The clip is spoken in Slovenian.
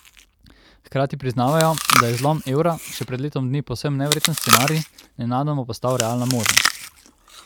Hkrati priznavajo, da je zlom evra, še pred letom dni povsem neverjeten scenarij, nenadoma postal realna možnost.